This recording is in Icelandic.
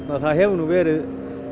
það hefur verið